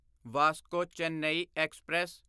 Vasco Chennai express